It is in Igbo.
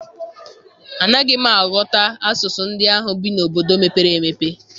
Anaghị m aghọta asụsụ ndị ahụ bi n'obodo mepere emepe.